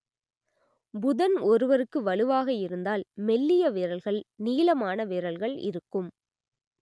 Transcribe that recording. புதன் ஒருவருக்கு வலுவாக இருந்தால் மெல்லிய விரல்கள் நீளமான விரல்கள் இருக்கும்